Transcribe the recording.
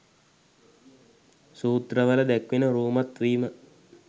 සූත්‍රවල දැක්වෙන රූමත් වීම